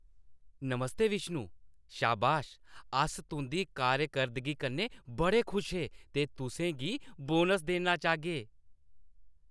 नमस्ते विष्णु, शाबाश, अस तुंʼदी कारकर्दगी कन्नै बड़े खुश हे ते तुसें गी बोनस देना चाह्गे।